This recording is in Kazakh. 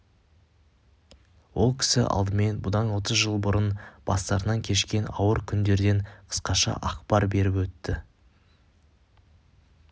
ол кісі алдымен бұдан отыз жыл бұрын бастарынан кешкен ауыр күндерден қысқаша ақпар беріп өтті